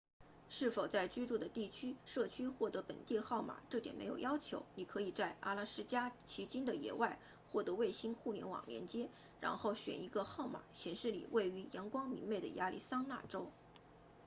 是否在居住的社区获得本地号码这点没有要求你可以在阿拉斯加奇金的野外获得卫星互联网连接然后选一个号码显示你位于阳光明媚的亚利桑那州